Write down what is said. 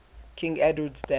king edward's death